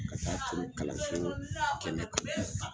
Ka taa kalanso kɛmɛ kan